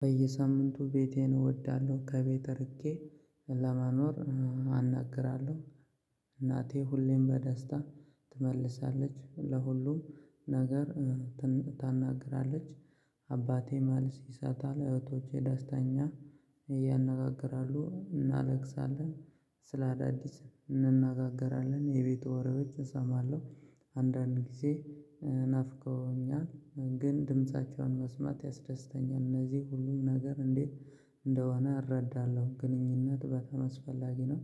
በየሳምንቱ ቤቴን እወዳለሁ ከቤት ርቄ ለመኖር አናግራለሁ። ሁሌም በደስታ ትመልሳለች ለሁሉም ነገር ታናግራለች። አባቴ መልስ ይሰጣል እህቶቼ ዳስተኛ ያናገግራሉ እናለቅሳለን። ስለ አዳዲስ እንናገራለን የቤቱ ወሬዎች እሰማለሁ። አንዳንድ ጊዜ ናፍቀውኛል ግን ድምፃቸውን መስማት ያስደስተኛል እነዚህ ሁሉም ነገር እንዴት እንደሆነ እረዳለሁ። ግንኙነት በጠም አስፈላጊ ነው።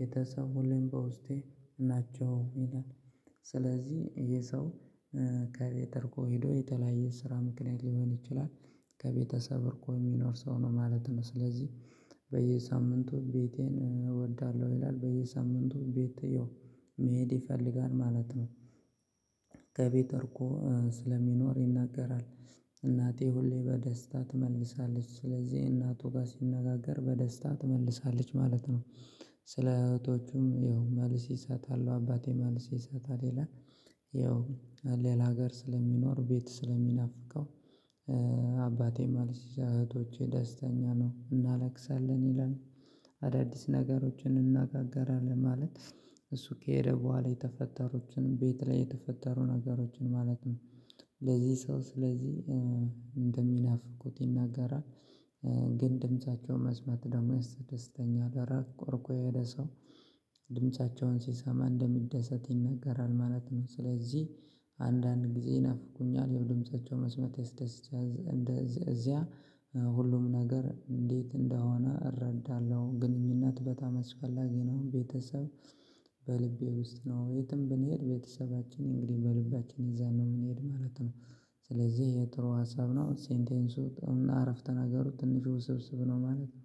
ቤተሰብ ሁሌም በውስጤ ናቸው ይላል። ስለዚህ የሰው ከቤት ርቆ ሄዶ የተለያየ ስራ ምክንያት ልሆን ይችላል። ከቤተሰብ ርቆ የሚኖር ሰው ነው ማለት ነው። ስለዚህ በየሳምንቱ ቤቴን እወዳለሁ ይላል። በየሳምንቱ ቤት ያው መሄድ ይፈልጋል ማለት ነው። ከቤት ርቆ ስለሚኖር ይናገራል። እናቴ ሁሌ በደስታ ትመልሳለች ስለዚህ እናቱ ጋር ሲነጋገር በደስታ ትመልሳለች ማለት ነው። ስለ እህቶቹም ይኸው መልስ ይሰጣል አባቴ መልስ ይሰጣል ይላል። ያው ሌላ ሀገር ስለሚኖር ቤት ስለሚናፍቀው አባቴ መልስ እህቶቼ ደስተኛ ነው እናለቅሳለን ይላል። ነገሮችን እንነጋገራለን ማለት እሱ ከሄደ በኋላ የተፈጠሩትን ቤት ላይ የተፈጠሩ ነገሮችን ማለት ነው። ለዚህ ሰው ስለዚህ እንደሚናፍቁት ይናገራል። ግን ድምፃቸውን መስማት ደግሞ የስተደሰተኛል ራቅ ርቆ የሄደ ሰው ድምፃቸውን ሲሰማ እንደሚደሰት ይነገራል ማለት ነው። ስለዚህ አንዳንድ ጊዜ ይናፍቀኛል ያው ድምፃቸዉን መስማት ያስደስኛል። ሁሉም ነገር እንዴት እንደሆነ እረዳለሁ ግንኙነት በጣም አስፈላጊ ነው። ቤተሰብ በልቤ ውስጥ ነው የትም ብንሄድ ቤተሰባችን እንግዲህ በልባችን ይዘን ነው የምንሄድ ማለት ነው። ስለዚህ የጥሩ ሀሳብ ነው ሴንቴንሱ ጥሩ አረፍተ ነገሩ ትንሹ ውስብስብ ነው። ማለት